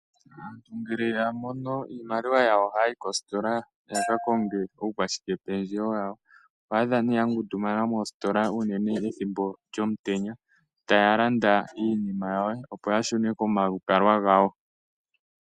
Aantu ngele yamono iimaliwa yawo, oha ya yi koositola yaka konge uukwashike pendjewo ya wo. Oho adha ne aantu yangundumana moositola uunene ethimbo lyomutenya taya landa iinima ya wo opo yashune komalukalwa gawo.